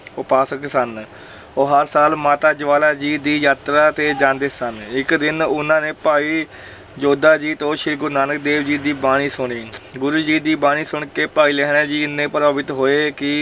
ਉਪਾਸਕ ਸਨ ਉਹ ਹਰ ਸਾਲ ਮਾਤਾ ਜਵਾਲਾ ਜੀ ਦੀ ਯਾਤਰਾ ਤੇ ਜਾਂਦੇ ਸਨ, ਇੱਕ ਦਿਨ ਉਹਨਾਂ ਨੇ ਭਾਈ ਜੋਧਾ ਜੀ ਤੋਂ ਸ੍ਰੀ ਗੁਰੂ ਨਾਨਕ ਦੇਵ ਜੀ ਦੀ ਬਾਣੀ ਸੁਣੀ ਗੁਰੂ ਜੀ ਦੀ ਬਾਣੀ ਸੁਣ ਕੇ ਭਾਈ ਲਹਿਣਾ ਜੀ ਇੰਨੇ ਪ੍ਰਭਾਵਿਤ ਹੋਏ ਕਿ